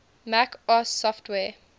mac os software